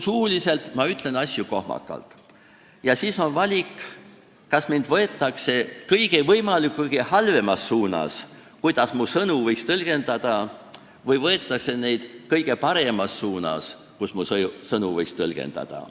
Suuliselt ütlen ma asju kohmakalt ja siis on valik, kas minu sõnu võetakse vastu kõige halvemas mõttes, kuidas neid võiks tõlgendada, või võetakse vastu kõige paremas mõttes, kuidas mu sõnu võiks tõlgendada.